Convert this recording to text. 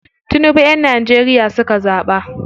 Tinibu yan Nageria suka zaɓa.